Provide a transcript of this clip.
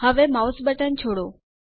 હવે mouse button છોડો